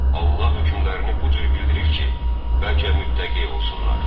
Allah hökmlərini bu cür bildirir ki, bəlkə mütəqqi olsunlar.